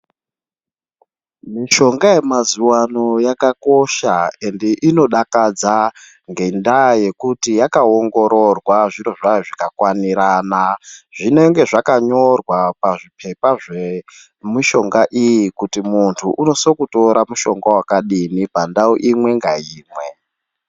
Mishonga yemazuwa ano yakakosha ende inodakadza ngendaa yekuti yakaongororwa zviro zvayo zvikakwanirana. Zvinenge zvakanyorwa pazvipfekwa zvemishonga iyi kuti muntu unosisokutora mushonga wakadini pandau imwe ngaimwe.